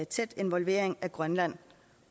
tæt involvering af grønland